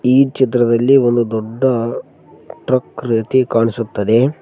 ಈ ಚಿತ್ರದಲ್ಲಿ ಒಂದು ದೊಡ್ಡ ಟ್ರಕ್ ರೀತಿ ಕಾಣಿಸುತ್ತದೆ.